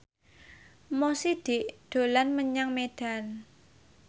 Mo Sidik dolan menyang Medan